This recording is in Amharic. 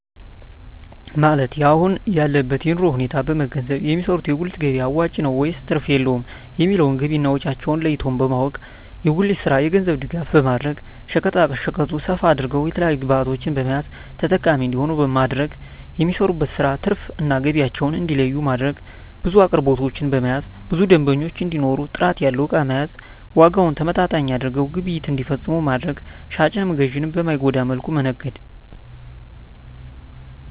ማለት የአሁን ያለበትን የኑሮ ሁኔታ በመንገዘብ የሚሰሩት የጉሊት ገቢያ አዋጭ ነው ወይስ ትርፍ የለውም የሚለውን ገቢና ወጫቸውን ለይቶ በማወቅ። የጉሊቱን ስራ የገንዘብ ድጋፍ በማድረግ ሸቀጣሸቀጡን ሰፋ አድርገው የተለያዪ ግብዕቶችን በመያዝ ተጠቃሚ እንዲሆኑ ማድረግ። የሚሰሩበትን ስራ ትርፍ እና ገቢያቸውን እንዲለዪ ማድረግ። ብዙ አቅርቦቶችን በመያዝ ብዙ ደንበኛ እንዲኖር ጥራት ያለው እቃ መያዝ። ዋጋውን ተመጣጣኝ አድርገው ግብይት እንዲፈፅሙ ማድረግ። ሻጭንም ገዢንም በማይጎዳ መልኩ መነገድ